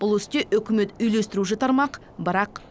бұл істе үкімет үйлестіруші тармақ бірақ